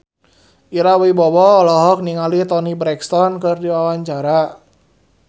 Ira Wibowo olohok ningali Toni Brexton keur diwawancara